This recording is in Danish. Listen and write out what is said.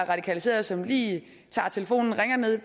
radikaliseret som lige tager telefonen og ringer ned